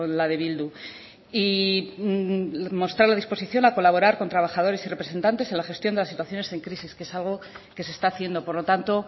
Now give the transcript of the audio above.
la de bildu y mostrar la disposición a colaborar con trabajadores y representantes en la gestión de las situaciones en crisis que es algo que se está haciendo por lo tanto